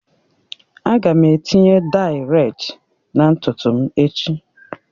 Aga m etinye dayi redị na ntutu m echi